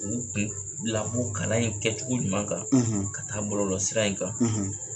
U kun labɔ kalan in kɛcogo ɲuman kan ka taa bɔlɔlɔsira in kan.